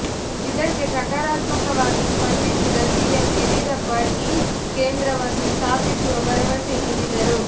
ಇದಕ್ಕೆ ಸಕಾರಾತ್ಮಕವಾಗಿ ಸ್ಪಂದಿಸಿದ ಸಿಎಂ ಯಡಿಯೂರಪ್ಪ ಈ ಕೇಂದ್ರವನ್ನು ಸ್ಥಾಪಿಸುವ ಭರವಸೆ ನೀಡಿದರು